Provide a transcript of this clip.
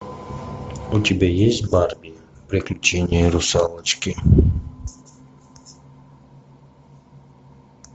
у тебя есть барби приключения русалочки